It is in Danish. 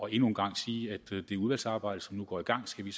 endnu en gang sige at det udvalgsarbejde som nu går i gang skal vi